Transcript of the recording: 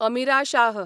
Amira Shah